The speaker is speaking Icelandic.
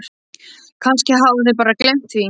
Kannski hafa þeir bara gleymt því.